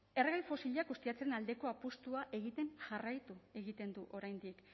erregai fosilak ustiatzearen aldeko apustua egiten jarraitu egiten du oraindik